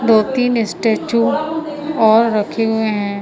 दो तीन स्टैचू और रखे हुए हैं।